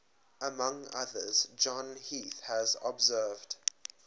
among others john heath has observed